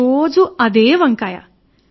ప్రతి రోజు అదే వంకాయ